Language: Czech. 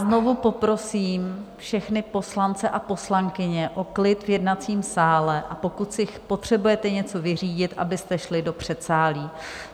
Znovu poprosím všechny poslance a poslankyně o klid v jednacím sále, a pokud si potřebujete něco vyřídit, abyste šli do předsálí.